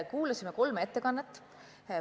Kuulasime kolme ettekannet.